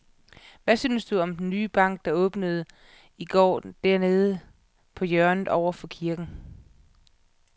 Hvad synes du om den nye bank, der åbnede i går dernede på hjørnet over for kirken?